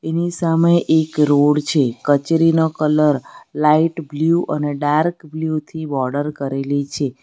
ની સામે એક રોડ છે કચેરીનો કલર લાઈટ બ્લ્યુ અને ડાર્ક બ્લુ થી બોર્ડર કરેલી છે.